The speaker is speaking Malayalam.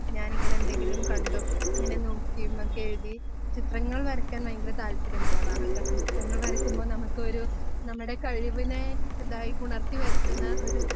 ഞാനിങ്ങനെ എന്തെങ്കിലും കണ്ടും അങ്ങനെ നോക്കിയിരുന്നൊക്കെ എഴുതി ചിത്രങ്ങൾ വരയ്ക്കാൻ ഭയങ്കര താല്പര്യം ഉള്ളതാണ്. കാരണം ചിത്രങ്ങൾ വരയ്ക്കുമ്പോ നമുക്കൊരു നമ്മുടെ കഴിവിനെ ഇതായി ഉണർത്തി വരുത്തുന്ന ഒരു